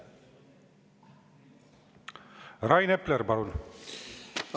Rain Epler, palun!